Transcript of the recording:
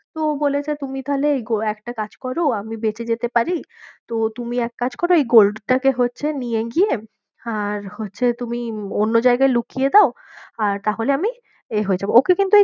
তো ও বলেছে তুমি তাহলে এই একটা কাজ করো আমি বেঁচে যেতে পার, তো তুমি এক কাজ করো এই gold টাকে হচ্ছে নিয়ে গিয়ে আর হচ্ছে তুমি অন্য জায়গায় লুকিয়ে দাও আর তাহলে আমি এ হয়ে যাবো, ওকে কিন্তু